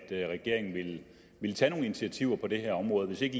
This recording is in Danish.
at regeringen ville tage nogle initiativer på det her område og hvis ikke